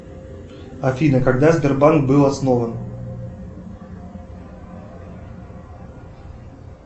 афина когда сбербанк был основан